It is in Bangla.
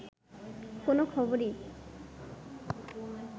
কোন খবরই